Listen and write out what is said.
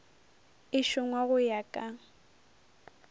e šongwa go ya ka